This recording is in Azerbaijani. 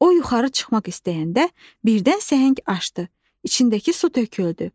O yuxarı çıxmaq istəyəndə birdən səhəng aşdı, içindəki su töküldü.